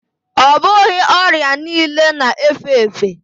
Ọ bụghị ọrịa niile na efe efe